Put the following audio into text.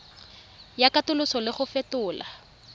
ya katoloso le go fetola